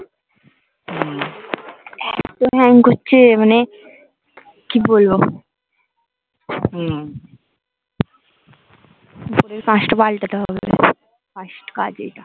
hang করছে মানে কি বলব হম টা পাল্টাতে হবে first কাজ এইটা